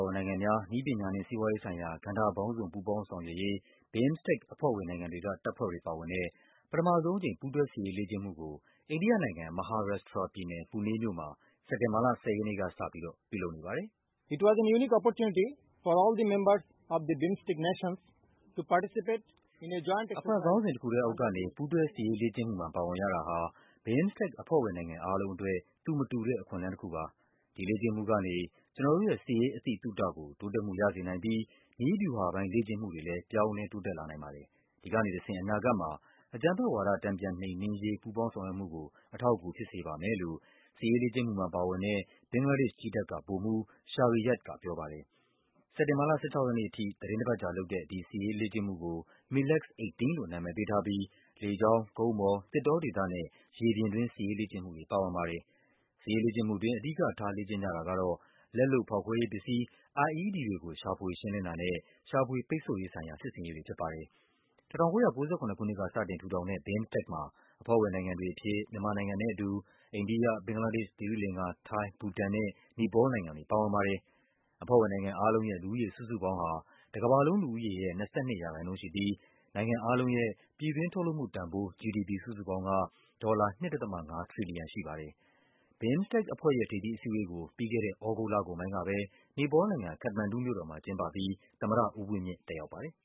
ော်နိုင်ငံများ နည်းပညာနှင့် စီးပွားရေးဆိုင်ရာ ကဏ္ဍပေါင်းစုံ ပူးပေါင်းဆောင်ရွက်ရေး BIMSTEC အဖွဲ့ဝင်နိုင်ငံ တွေက တပ်ဖွဲ့တွေပါဝင်တဲ့ ပထမဆုံးအကြိမ် ပူးတွဲစစ်ရေးလေ့ကျင့်မှုကို အိန္ဒိယနိုင်ငံ၊ မဟာရပ်ရှ်ထရာပြည်နယ်၊ Pune မြို့မှာ စက်တင်ဘာလ ၁၀ ရက်နေ့ကစပြီး ပြုလုပ်နေပါတယ်။ “အဖွဲ့ခေါင်းစဉ်တခုထဲအောက်ကနေ ပူးတွဲစစ်ရေးလေ့ကျင့်မှုမှာ ပါဝင်ရတာဟာ BIMSTEC အဖွဲ့ဝင်နိုင်ငံအားလုံးအတွက် သူမတူ တဲ့ အခွင့်အလန်းတခုပါ။ ဒီလေ့ကျင့်မှုကနေ ကျနော်တို့ရဲ့ စစ်ရေး အသိသုတကို တိုးတက်မှုရစေနိုင်ပြီး နည်းဗျူဟာပိုင်း လေ့ကျင့် မှုတွေလည်း ပြောင်းလဲတိုးတက်လာနိုင်ပါတယ်။ ဒီကနေတဆင့် အနာဂတ်မှာ အကြမ်းဖက်ဝါဒ တန်ပြန်နှိမ်နင်းရေး ပူးပေါင်း ဆောင်ရွက်မှုကို အထောက်အကူဖြစ်စေပါမယ်။” လို့ စစ်ရေးလေ့ကျင့်မှုမှာပါဝင်တဲ့ ဘင်္ဂလားဒေ့ရှ်ကြည်းတပ်က ဗိုလ်မှူး Shariyad ကပြောပါတယ်။ စက်တင်ဘာလ ၁၆ ရက်နေ့အထိ သီတင်းတပတ်ကြာလုပ်တဲ့ ဒီစစ်ရေးလေ့ကျင့်မှုudk MILEX-18 လို့ နာမည်ပေးထားပြီး လေကြောင်း၊ ကုန်းပေါ်၊ သစ်တောဒေသနဲ့ ရေပြင် စစ်ရေးလေ့ကျင့်မှုတွေ ပါဝင်ပါတယ်။ စစ်ရေးလေ့ကျင့်မှုှအတွင်း အဓိကထားလေ့ကျင့်ကြတာကတော့ လက်လုပ်ဖောက်ခွဲရေးပစ္စည်း IED တွေကို ရှာဖွေရှင်းလင်းတာ နဲ့ ရှာဖွေ ပိတ်ဆို့ရေးဆိုင်ရာ စစ်ဆင်ရေးတွေဖြစ်ပါတယ်။ ၁၉၉၇ ခုနှစ်က စတင်ထူထောင်တဲ့ BIMSTEC မှာ အဖွဲ့ဝင်နိုင်ငံတွေအဖြစ် မြန်မာနိုင်ငံနဲ့အတူ အိန္ဒိယ၊ ဘင်္ဂလားဒေ့ရှ်၊ သီရိလင်္ကာ၊ ထိုင်း၊ ဘူတန်နဲ့ နီပေါလ်နိုင်ငံတွေ ပါဝင်ပါတယ်။ အဖွဲ့ဝင်နိုင်ငံအားလုံးရဲ့ လူဦးရေစုစုပေါင်းဟာ တကမ္ဘာလုံးလူူဦးရေရဲ့ ၂၂% ရှိပြီး နိုင်ငံအားလုံးရဲ့ ပြည်တွင်းထုတ်လုပ်မှုတန်ဖိုး GDP စုစုပေါင်းဟာ ဒေါ်လာ ၂.၅ ထရီလီယံရှိပါတယ်။ BIMSTEC အဖွဲ့ရဲ့ ထိပ်သီးအစည်းအဝေးကို ပြီးခဲ့တဲ့ သြဂုတ်လကုန်ပိုင်းကပဲ နီပေါလ်နိုင်ငံ၊ ခတ္တမန်ဒူမြို့တော်မှာ ကျင်းပပြီး သမ္မတဦးဝင်းမြင့် တက်ရောက်ပါတယ်